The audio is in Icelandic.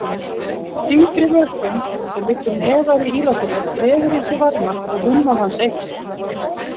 Þyngri vökvinn, sem liggur neðar í ílátinu, dregur í sig varmann og rúmmál hans eykst.